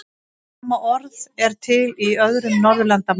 Sama orð er til í öðrum Norðurlandamálum.